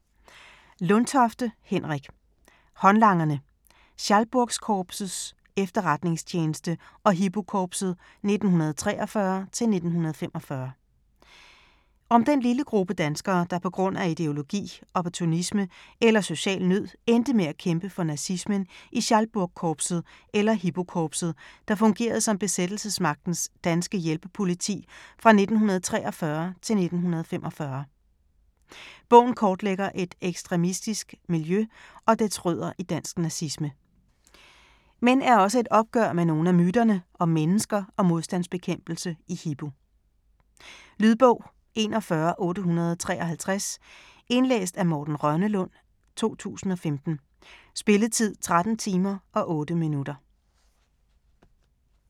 Lundtofte, Henrik: Håndlangerne: Schalburgkorpsets Efterretningstjeneste og Hipokorpset 1943-1945 Om den lille gruppe danskere, der på grund af ideologi, opportunisme eller social nød endte med at kæmpe for nazismen i Schalburgkorpset eller Hipokorpset, der fungerede som besættelsesmagtens danske hjælpepoliti fra 1943 til 1945. Bogen kortlægger et ekstremistisk miljø og dets rødder i dansk nazisme. Men er også et opgør med nogle af myterne om mennesker og modstandsbekæmpelse i Hipo. Lydbog 41853 Indlæst af Morten Rønnelund, 2015. Spilletid: 13 timer, 8 minutter.